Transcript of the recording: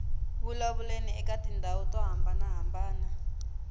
vulavuleni eka tindhawu to hambanahambana